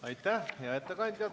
Aitäh, hea ettekandja!